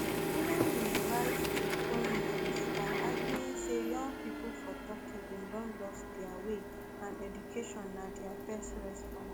gulen bin rise to prominence by arguing say young pipo for turkey bin don lost dia way and education na di best response